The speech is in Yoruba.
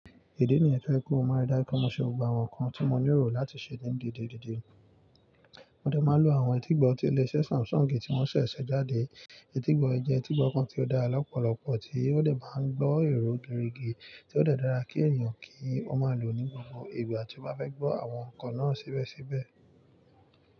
Ìdí nìyẹn tó jẹ́ pé mo maa ń rí dájú pé mo ṣe gbogbo àwọn ǹkan tí mo nírò láti ṣe ní dìdì dìdì. Wọn dẹ̀ máa lo àwọn etígbọ̀ tí ilé iṣẹ́ Samsung tí wọ́n ṣẹ̀ṣẹ̀ jáde. Etígbọ̀ jẹ́ etígbọ̀ kan tó dára lọ́pọ̀lọpọ̀ tí ó dẹ̀ máa ń gbọ́ èrò gidi rí tí ó dà dára kí ènìyàn kí ó máa lò ní gbogbo ìgbà tí ó bá fẹ́ gbọ́ àwọn ǹkan náà síbẹ̀síbẹ̀.